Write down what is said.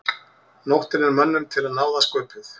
Nóttin er mönnum til náða sköpuð.